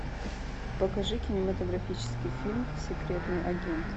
покажи кинематографический фильм секретный агент